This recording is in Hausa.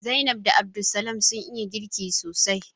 Zainab da Abdulsamad sun iya girki sosai